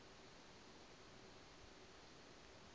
ya gpg i ḓo hu